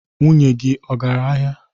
Nwunye gị agara ahịa?